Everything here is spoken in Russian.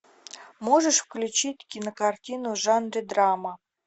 можешь включить кинокартину в жанре драма